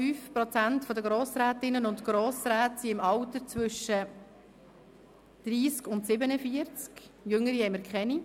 31,5 Prozent der Grossrätinnen und Grossräte sind im Alter zwischen 30 und 47 Jahren, jüngere gibt es keine.